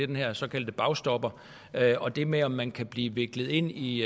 den her såkaldte bagstopper og det med om man kan blive viklet ind i